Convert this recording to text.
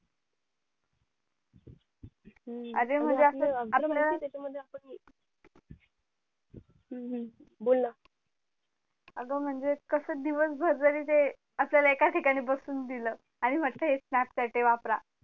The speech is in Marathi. अरे म्हणजे असं आपल्या हम्म हम्म बोल ना अगं म्हणजे कस दिवस भरही जरी ते एका ठिकाणी बसून दिल आणि म्हटलं हे snapchat ये वापरा